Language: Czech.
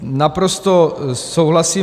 Naprosto souhlasím.